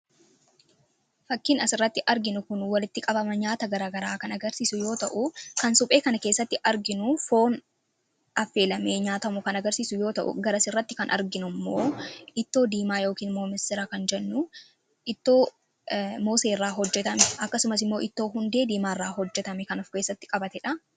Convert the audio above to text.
fakkiin as irratti arginu kun walitti qabama nyaata garagaraa kan agarsiisu yoo ta'u kan suphee kan keessatti arginu foon afeelamee nyaatamu kan agarsiisu yoo ta'u garasi irratti kan arginu immoo ittoo diimaa yookiin moomisiraa kan jennu mooseerraa hojjetame akkasumas immoo ittoo hundee diimaa irraa hojjetame kanuf keessatti qabate dha